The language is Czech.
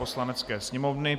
Poslanecké sněmovny